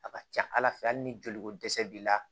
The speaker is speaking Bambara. A ka ca ala fɛ hali ni joli ko dɛsɛ b'i la